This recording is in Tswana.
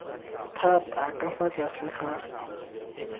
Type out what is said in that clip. thata ka fa tlase ga